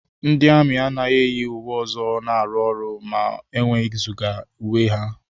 Ndị amị anaghị eyi uwe ọzọ na-arụ ọrụ ma e wezụga uwe ha.